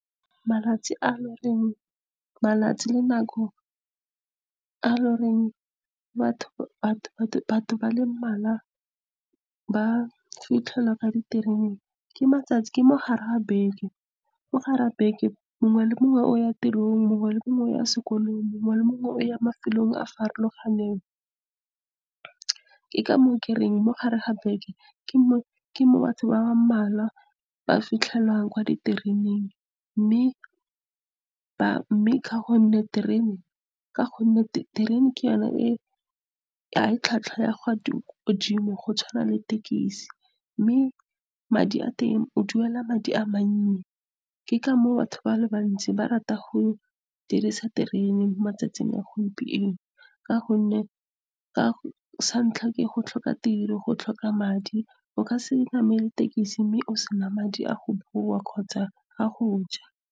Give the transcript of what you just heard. Malatsi le nako a e le goreng batho ba le mmalwa ba fitlhelwa kwa ditereneng, ke mo gare ga beke. Mo gare ga beke, mongwe le mongwe o ya tirong, mongwe le mongwe o ya sekolo, mongwe le mongwe o ya mafelong a a farologaneng. Ke ka moo ke reng mo gare ga beke ke mo batho ba ba mmalwa ba fitlhelwang kwa ditereneng. Mme ka gonne terene ga e tlhwatlhwa e kwa godimo go tshwana le thekisi, mme madi a teng o duela madi a mannye. Ke ka moo batho ba le bantsi ba ratang go dirisa terene mo matsatsing a gompieno ka gonne, sa ntlha, ke go tlhoka tiro, go tlhoka madi. O ka se namele thekisi mme o sena madi a go boa kgotsa a go ja.